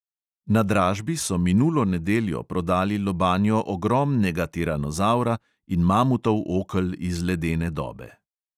Na dražbi so minulo nedeljo prodali lobanjo ogromnega tiranozavra in mamutov okel iz ledene dobe.